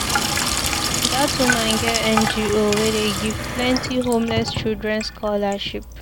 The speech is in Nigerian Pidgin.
Dat woman get NGO wey dey give plenty homeless children scholarship.